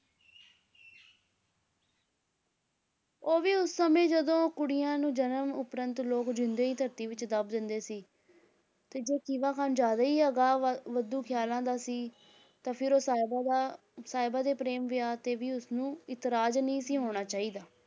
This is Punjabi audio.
ਉਹ ਵੀ ਉਸ ਸਮੈਂ ਜਦੋਂ ਕੁੜੀਆਂ ਨੂੰ ਜਨਮ ਉਪਰੰਤ ਲੋਕ ਜਿਉਂਦੇ ਹੀ ਧਰਤੀ ਵਿੱਚ ਦੱਬ ਦਿੰਦੇ ਸੀ, ਤੇ ਜੇ ਖੀਵਾ ਖਾਨ ਜ਼ਿਆਦਾ ਹੀ ਅਗਾਂਹ ਵ~ ਵਧੂ ਖਿਆਲਾਂ ਦਾ ਸੀ ਤਾਂ ਫਿਰ ਉਹ ਸਾਹਿਬਾਂ ਦਾ ਸਾਹਿਬਾਂ ਦੇ ਪ੍ਰੇਮ ਵਿਆਹ 'ਤੇ ਵੀ ਉਸਨੂੰ ਇਤਰਾਜ਼ ਨਹੀਂ ਸੀ ਹੋਣਾ ਚਾਹੀਦਾ।।